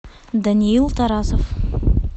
даниил тарасов